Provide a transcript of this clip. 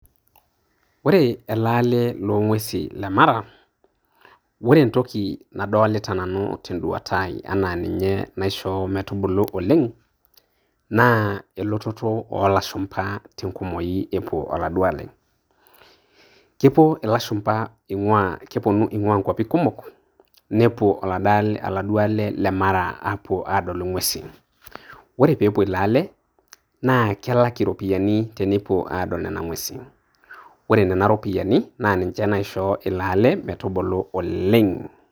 Ore ele ale longwesin lemara ore entoki nadolita nanu tenduata ai ena ninye naisho metubulu oleng. na elototo olashumba tenkumoi epuo oladuo ale. kepuo ilashumba keponu ingua inkuapi kumok nepuo oladuo ale le mara apuo adol inwesin, ore pepuo ilo ale na kelak iropiani tenepuo adol nena ngwesin .ore nena ropiani na ninche naisho ilo ale metubulu oleng.